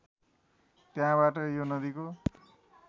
त्यहाँबाट यो नदीको